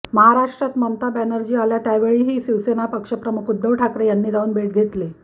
महाराष्ट्रात ममता बॅनर्जी आल्या त्यावेळीही शिवसेना पक्षप्रमुख उद्धव ठाकरे यांनी जाऊन भेट घेतली